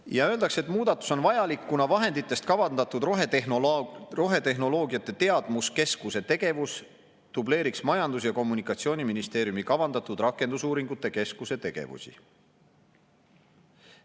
Ja öeldakse, et muudatus on vajalik, kuna vahenditest kavandatud rohetehnoloogiate teadmuskeskuse tegevus dubleeriks Majandus‑ ja Kommunikatsiooniministeeriumi kavandatud rakendusuuringute keskuse tegevusi.